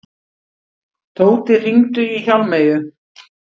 Tóti, hringdu í Hjálmeyju.